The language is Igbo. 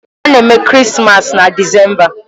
A na-eme Krismas na Disemba.